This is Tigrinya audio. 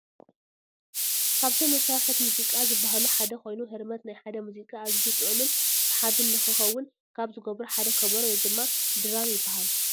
ካብቶም መሳርሕታት ሙዚቃ ዝባህሉ ሓደ ኮይኑ ህርመት ናይ ሓደ ሙዚቃ ኣዚዩ ጥዑምን ስሓብን ንክከውን ካብ ዝገብሩ ሓደ ከበሮ ወይከዓ ድራም ይብሃል።